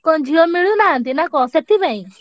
କଣ ଝିଅ ମିଳୁନାହାନ୍ତି ନା କଣ ସେଥିପାଇଁ?